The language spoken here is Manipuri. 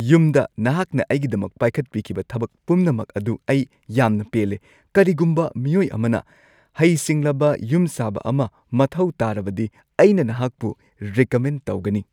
ꯌꯨꯝꯗ ꯅꯍꯥꯛꯅ ꯑꯩꯒꯤꯗꯃꯛ ꯄꯥꯏꯈꯠꯄꯤꯈꯤꯕ ꯊꯕꯛ ꯄꯨꯝꯅꯃꯛ ꯑꯗꯨ ꯑꯩ ꯌꯥꯝꯅ ꯄꯦꯜꯂꯦ꯫ ꯀꯔꯤꯒꯨꯝꯕ ꯃꯤꯑꯣꯏ ꯑꯃꯅ ꯍꯩꯁꯤꯡꯂꯕ ꯌꯨꯝꯁꯥꯕ ꯑꯃ ꯃꯊꯧ ꯇꯥꯔꯕꯗꯤ, ꯑꯩꯅ ꯅꯍꯥꯛꯄꯨ ꯔꯦꯀꯃꯦꯟ ꯇꯧꯒꯅꯤ꯫